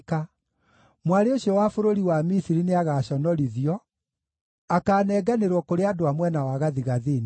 Mwarĩ ũcio wa bũrũri wa Misiri nĩagaconorithio, akaanenganĩrwo kũrĩ andũ a mwena wa gathigathini.”